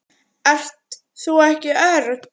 Ert þú ekki Örn?